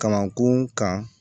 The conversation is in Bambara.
Kamankun kan